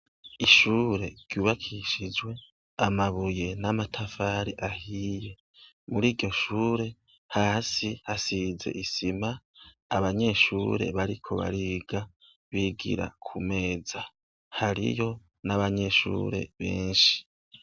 Ishure ryubakishijwe amabuye n'amatafari ahiye, muriryo shure hasi hasize isima abanyeshure bariko bariga bigira kumeza, hariyo n'abanyeshure benshi.